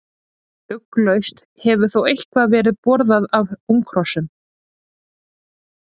Ugglaust hefur þó eitthvað verið borðað af unghrossum.